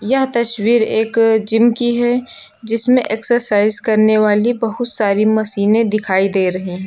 यह तस्वीर एक जिम की है जिसमें एक्सरसाइज करने वाली बहुत सारी मशीनें दिखाई दे रहे हैं।